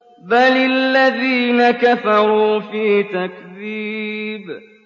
بَلِ الَّذِينَ كَفَرُوا فِي تَكْذِيبٍ